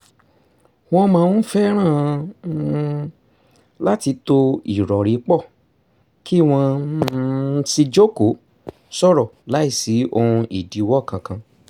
wọ́n máa ń fẹ́ràn um láti to ìrọ̀rí pọ̀ kí wọ́n um sì jókòó sọ̀rọ̀ láìsí ohun ìdíwọ́ kan kan